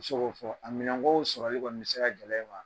I bɛ se k'o fɔ, a minɛnkow sɔrɔli kɔni mi se ka gɛlɛyai ma.